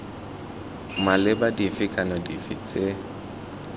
maleba dife kana dife tse